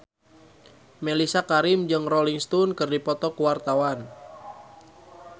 Mellisa Karim jeung Rolling Stone keur dipoto ku wartawan